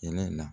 Kɛnɛ la